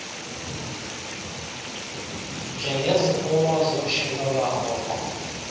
njengeziphumo zotshintsho lwarhoqo